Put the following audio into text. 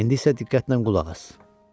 İndi isə diqqətlə qulaq as.